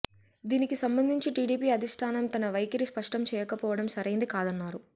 దీనికి సంబంధించి టీడీపీ అధిష్ఠానం తన వైఖరి స్పష్టం చేయకపోవడం సరైంది కాదన్నారు